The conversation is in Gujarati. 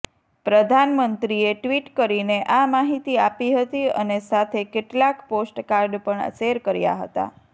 પ્રધાનમંત્રીએ ટ્વીટ કરીને આ માહિતી આપી હતી અને સાથે કેટલાક પોસ્ટકાર્ડ પણ શેર કર્યા હતા